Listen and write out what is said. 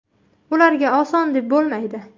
Ularga oson deb bo‘lmaydi.